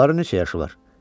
Onların neçə yaşı var?